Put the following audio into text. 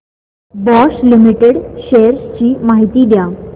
Bosch limited shares ची माहिती द्या